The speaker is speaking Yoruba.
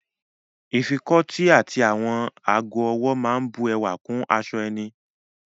Ìfikọ́tí àti àwọn ago-ọwọ́ máa bu ẹwà kún aṣọ ẹni.